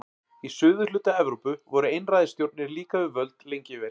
Í suðurhluta Evrópu voru einræðisstjórnir líka við völd lengi vel.